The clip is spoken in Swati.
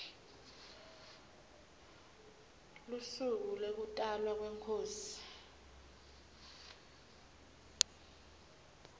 lusuku lekutalwa kwenkhosi